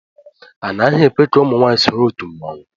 Anaghị ekwe ka ụmụ nwaanyị soro otu mmanwụ.